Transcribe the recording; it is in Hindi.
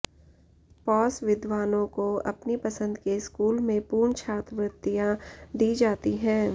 पॉस विद्वानों को अपनी पसंद के स्कूल में पूर्ण छात्रवृत्तियां दी जाती हैं